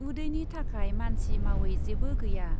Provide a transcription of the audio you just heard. उदैनि थाखाय मानसि मावै जेबो गैया ।